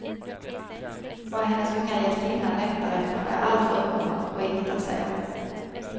Vad hennes unga hjältinna längtar efter är alltför uppenbart och inget att säga om.